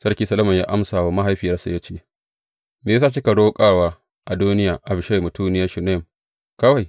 Sarki Solomon ya amsa wa mahaifiyarsa ya ce, Me ya sa kika roƙar wa Adoniya Abishag mutuniyar Shunam kawai?